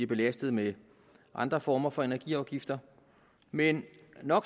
belastet med andre former for energiafgifter men no